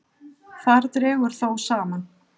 Þar dregur þó saman.